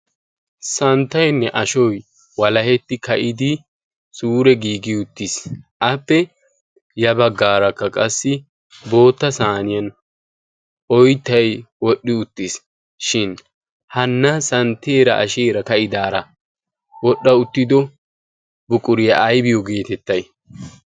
santtainne ashoy walahetti ka'idi suure giigi uttiis appe ya baggaarakka qassi bootta saaniyan oittai wodhdhi uttiis. shin hanna santteera asheera ka'idaara wodhdha uttido buquriyaa aybiyo geetettay?